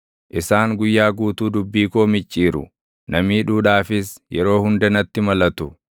Isaan guyyaa guutuu dubbii koo micciiru; na miidhuudhaafis yeroo hunda natti malatu.